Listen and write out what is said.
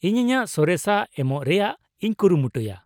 -ᱤᱧ ᱤᱧᱟᱹᱜ ᱥᱚᱨᱮᱥᱟᱜ ᱮᱢᱚᱜ ᱨᱮᱭᱟᱜ ᱤᱧ ᱠᱩᱨᱩᱢᱩᱴᱩᱭᱟ ᱾